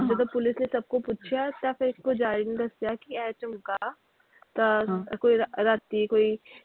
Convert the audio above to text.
ਜਦੋਂ police ਨੇ ਸਭ ਕੋਲੋਂ ਪੁੱਛਿਆ ਤਾਂ ਫਿਰ ਪੁਜਾਰੀ ਨੇ ਦੱਸਿਆ ਕਿ ਇਹ ਝੁਮਲਕਾ ਤਾਂ ਕੋਈ ਰਾਤੀ ਕੋਈ,